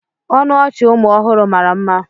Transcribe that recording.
Ọnụ ọchị ụmụ ọhụrụ mara mma.